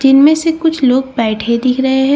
जिनमें से कुछ लोग बैठे दिख रहे है।